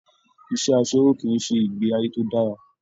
Iṣẹ asẹwo kìí ṣe ìgbé ayé tó dára.